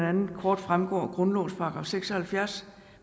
andet kort fremgår af grundlovens § seks og halvfjerds